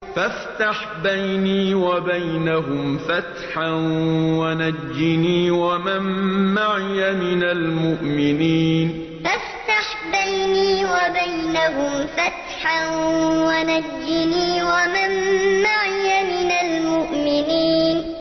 فَافْتَحْ بَيْنِي وَبَيْنَهُمْ فَتْحًا وَنَجِّنِي وَمَن مَّعِيَ مِنَ الْمُؤْمِنِينَ فَافْتَحْ بَيْنِي وَبَيْنَهُمْ فَتْحًا وَنَجِّنِي وَمَن مَّعِيَ مِنَ الْمُؤْمِنِينَ